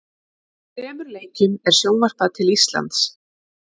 Þremur leikjum er sjónvarpað til Íslands.